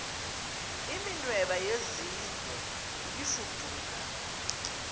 iminweba yezingwe ibifudula